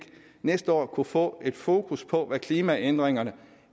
næste år kunne få et fokus på hvad klimaændringerne